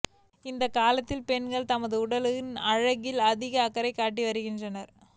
இந்த காலத்தில் பெண்கள் தமது உடல் அழகில் அதிக அக்கறை காட்டி வருகின்றனர்